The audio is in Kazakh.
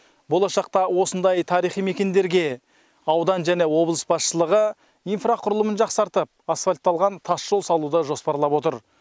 болашақта осындай тарихи мекендерге аудан және облыс басшылығы инфрақұрылымын жақсартып асфальтталған тас жол салуды жоспарлап отыр